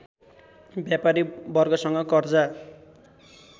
व्यापारी वर्गसँग कर्जा